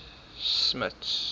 smuts